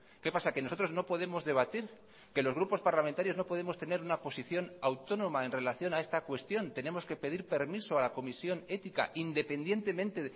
qué pasa que nosotros no podemos debatir que los grupos parlamentarios no podemos tener una posición autónoma en relación a esta cuestión tenemos que pedir permiso a la comisión ética independientemente